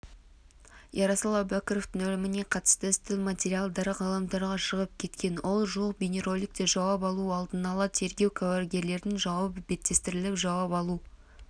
ерасыл әубәкіровтың өліміне қатысты істің материалдары ғаламторға шығып кеткен ол жуық бейнероликтер жауап алу алдын-ала тергеу куәгерлердің жауабы беттестіріп жауап алу